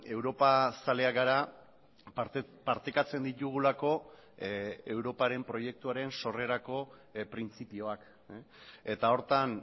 europa zaleak gara partekatzen ditugulako europaren proiektuaren sorrerako printzipioak eta horretan